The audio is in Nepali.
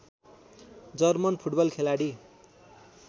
जर्मन फुटबल खेलाडी